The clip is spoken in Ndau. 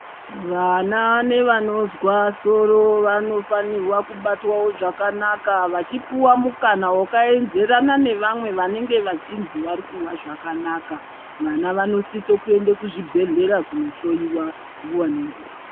Vana nevanonzwa soro vanoganirwa kubatwa zvakanaka vachipuwa mukana wakaenzerana newevamwe vanenge vachinzi varikunzwa zvakanaka vana vnosisa kuenda kuzvibhedhlera kunohloyiwa nguva nenguva.